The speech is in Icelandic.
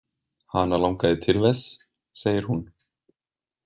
Hana langaði til þess, segir hún.